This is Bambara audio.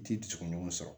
Ti dusukun ɲɔgɔn sɔrɔ